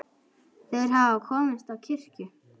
Þeir hafa komist á kirkju!